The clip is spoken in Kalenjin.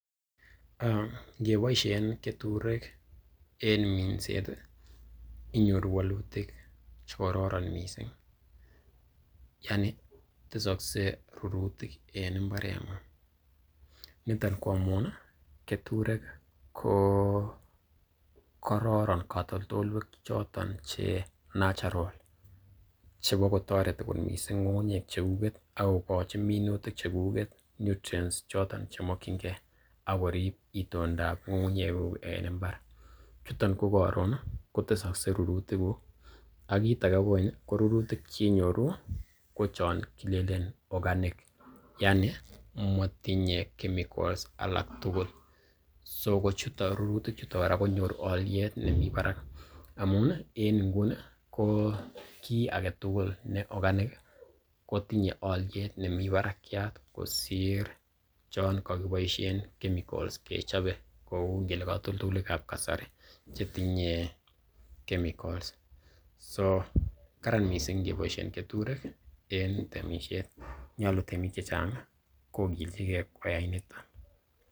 Ingiboisien keturek en minset inyoru walutik che kororon mising. Yani tesokse rurutik en mbareng'ung. Niton ko amun keturek ko kororn katoltolywek che choton natural chebo kotoreti kot mising ng'ung'nyek che kuget ago kochin minutik chekuget nutrients choton che mokinge ak korib itondab ng'ung'unyekug en mbar. huton ko karon kotesokse rurutikuk. Ak kit age kogeny ko rurutik che inyoru, ko chon kilelen organic yaani motinye chemicals alak tugul. So ko rurutik chuton kora konyoru olyet nemi barak amun en nguni ko kiy agetugul ne organic kotinye olyet nemi barakyat kosir chon kogiboisien chemicals kechobe . Kou ngele katoltoleiywek ab kasari chetinye chemicals so karan misng ngeboisien keturek en temisiet. Nyolu temik che chang kogilchige koyai niton.